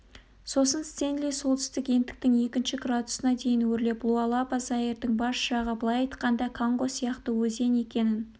сосын стенли солтүстік ендіктің екінші градусына дейін өрлеп луалаба заирдың бас жағы былай айтқанда конго сияқты өзен екенін